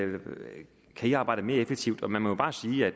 de kan arbejde mere effektivt man må bare sige at